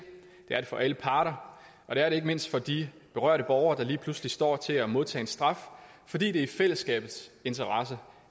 det er det for alle parter og det er det ikke mindst for de berørte borgere der lige pludselig står til at modtage en straf fordi det er i fællesskabets interesse